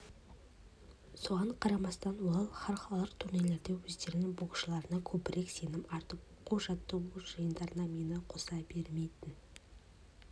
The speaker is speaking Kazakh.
соған қарамастан олар халықаралық турнирлерде өздерінің боксшыларына көбірек сенім артып оқу-жаттығу жиындарына мені қоса бермейтін